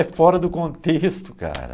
É fora do contexto, cara.